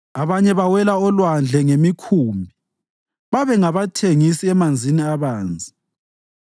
Abanye bawela olwandle ngemikhumbi; babengabathengisi emanzini abanzi.